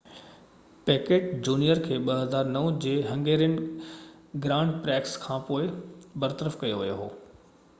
packet junior کي 2009 جي Hungarian grand prix کانپوءِ برطرف ڪيو ويو هو